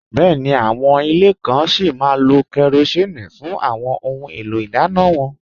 Bẹ́ẹ̀ni, àwọn ilẹ̀ kàn sí má lò kérosín fún àwọn ọ̀hun èlò idànna wọn